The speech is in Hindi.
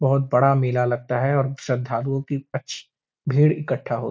बोहोत बड़ा मेला लगता है और श्रद्धालुओ कि अच्छी भीड़ इकट्टा हो --